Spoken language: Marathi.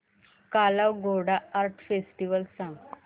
काला घोडा आर्ट फेस्टिवल सांग